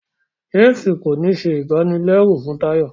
James kò ní ṣe ibanilẹru fún Tayo